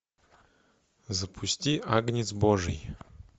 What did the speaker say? запусти агнец божий